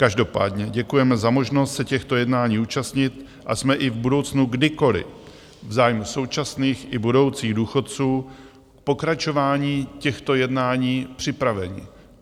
Každopádně děkujeme za možnost se těchto jednání účastnit a jsme i v budoucnu kdykoli v zájmu současných i budoucích důchodců v pokračování těchto jednání připraveni.